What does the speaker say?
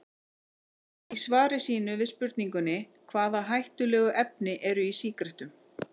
Í svari sínu við spurningunni Hvaða hættulegu efni eru í sígarettum?